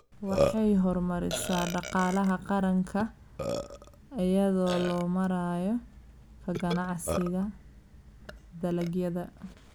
Waxay horumarisaa dhaqaalaha qaranka iyada oo loo marayo ka ganacsiga dalagyada.